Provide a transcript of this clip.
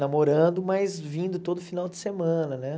namorando, mas vindo todo final de semana né.